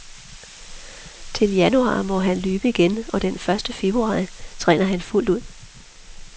Til januar må han løbe igen, og den første februar træner han fuldt med.